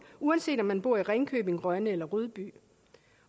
uanset om man bor i ringkøbing rønne eller rudby